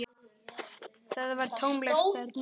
Það var tómlegt þarna inni.